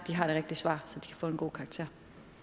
har det rigtige svar så de kan få en god karakter